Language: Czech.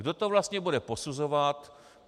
Kdo to vlastně bude posuzovat?